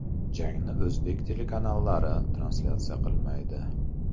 Jangni o‘zbek telekanallari translyatsiya qilmaydi.